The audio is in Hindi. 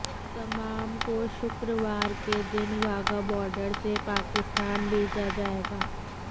तमाम को शुक्रवार के दिन वाघा बोर्डर से पाकिस्तान भेजा जायेगा